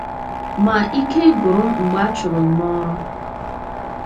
Ma, ike gwụrụ m mgbe a a chụrụ m n’ọrụ.